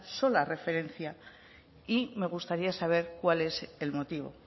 sola referencia y me gustaría saber cuál es el motivo